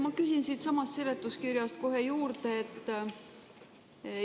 Ma küsin siitsamast seletuskirjast kohe juurde.